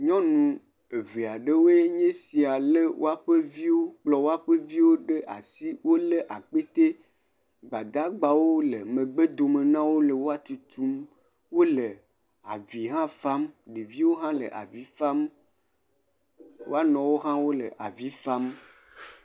Nyɔnu evea ɖewoe nye sia le woaɖe, kplɔ woƒe viwo ɖe asi. Wole akpe. Gbadagbawo le megbe dome nawò le wòa tutum. Wòle avi hã fam. Ɖeviwo hã le avi fam, woanɔwo hã le avi fam.